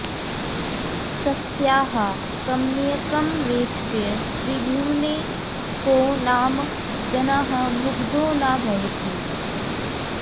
तस्याः कमनीयकमवेक्ष्य त्रिभुवने को नाम जनः मुग्धो न भवति